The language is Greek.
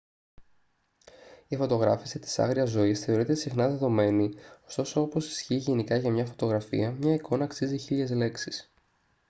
η φωτογράφηση της άγριας ζωής θεωρείται συχνά δεδομένη ωστόσο όπως ισχύει γενικά για τη φωτογραφία μία εικόνα αξίζει χίλιες λέξεις